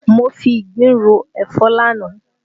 Mo fi ìgbín ro ẹ̀fọ́ lánàá